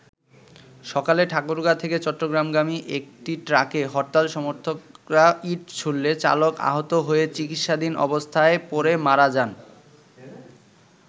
সকালে ঠাকুরগাঁ থেকে চট্টগ্রামগামী একটি ট্রাকে হরতাল সর্মথকরা ইট ছুড়লে চালক আহত হয়ে চিকিৎসাধীন অবস্থায় পরে মারা যান।